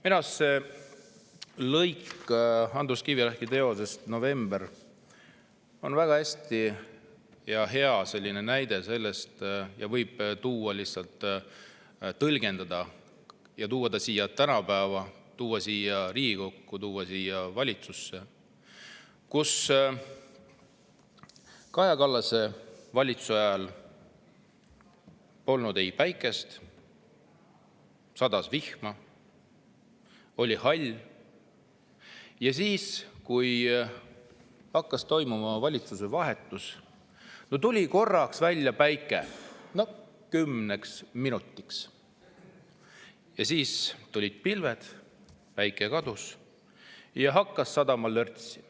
" Minu arust see lõik Andrus Kivirähki teosest "November" on väga hea, seda võib tõlgendada, tuua tänapäeva, tuua siia Riigikokku, tuua valitsusse: Kaja Kallase valitsuse ajal polnud päikest, sadas vihma, oli hall ja siis, kui hakkas toimuma valitsuse vahetus, tuli päike korraks välja, kümneks minutiks, aga siis tulid pilved, päike kadus ja hakkas sadama lörtsi.